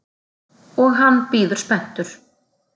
Og hann bíður spenntur.